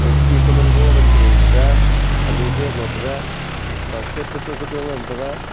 okhi kamango manchiring taiga alu bag lo taiga basket kacho kacho ngan taiga.